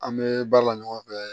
An bɛ baara la ɲɔgɔn fɛ